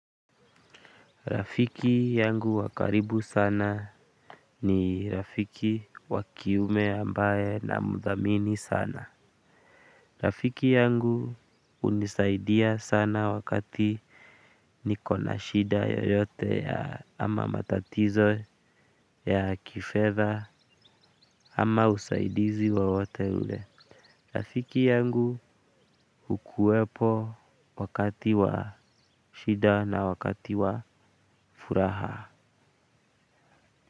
Rafiki yangu wa karibu sana ni rafiki wa kiume ambaye namdhamini sana. Rafiki yangu hunisaidia sana wakati nikona shida yeyote ama matatizo ya kifedha ama usaidizi wowote ule. Rafiki yangu hukuwepo wakati wa shida na wakati wa furaha.